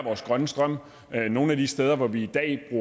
vores grønne strøm nogle af de steder hvor vi i dag